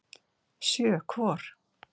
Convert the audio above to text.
Sjö hvor.